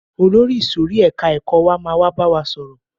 Olórí ìsòrí ẹka ẹ̀kọ́ wa máa wá bá wa sọ̀rọ̀.